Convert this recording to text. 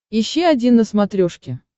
ищи один на смотрешке